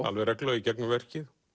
alveg reglulega í gegnum verkið